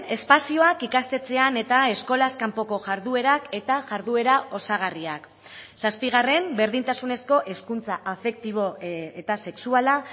espazioak ikastetxean eta eskolaz kanpoko jarduerak eta jarduera osagarriak zazpigarren berdintasunezko hezkuntza afektibo eta sexuala